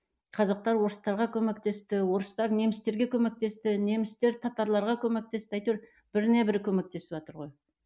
қазақтар орыстарға көмектесті орыстар немістерге көмектесті немістер татарларға көмектесті әйтеуір біріне бірі көмектесіватыр ғой